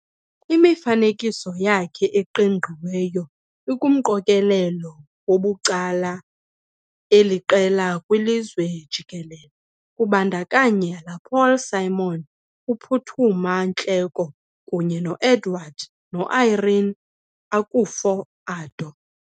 Imifanekiso yakhe eqingqiweyo ikumqokelelo wabucala aliqela kwilizwe jikelele, kubandakanya la Paul Simon, uPhuthuma Nhleko, kunye no-Edward no-Irene Akufo-Addo.